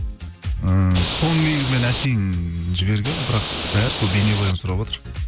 ііі соны негізі мен әшейін жібергенмін бірақ бәрі сол бейнебаянын сұраватыр